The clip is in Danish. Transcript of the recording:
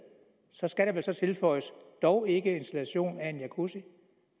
så skal der vel tilføjes dog ikke installation af en jacuzzi